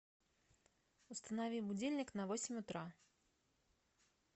установи будильник на восемь утра